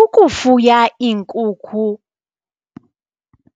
Ukufuya iinkukhu